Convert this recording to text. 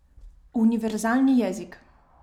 Univerzalni jezik.